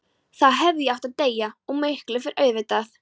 Þá hefði ég átt að deyja, og miklu fyrr auðvitað.